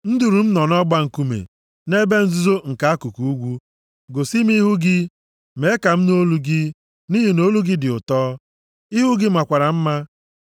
Nduru m nọ nʼọgba nkume, nʼebe nzuzo nke akụkụ ugwu, gosi m ihu gị, mee ka m nụ olu gị, nʼihi na olu gị dị ụtọ, ihu gị makwara mma.